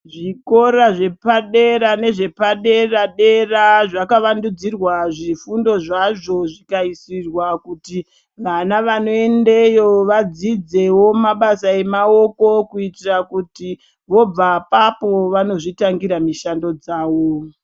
Zvikora zvepadera nezvepadera dera zvakawandudzirwa zvifundo zvazvo zvikaisirwa kuti vana vanoendeyo vadzidzewo mabasa emaoko kuitira kuti chobva apapo vanozvitangira mishando dzawo.